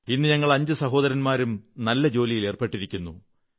ഇന്ന് ഞങ്ങൾ അഞ്ചു സഹോദരന്മാരും നല്ല ജോലിയിൽ ഏർപ്പെട്ടിരിക്കുന്നു